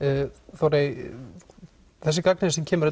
Þórey þessi gagnrýni sem kemur